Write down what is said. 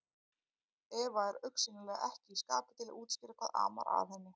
Eva er augsýnilega ekki í skapi til að útskýra hvað amar að henni.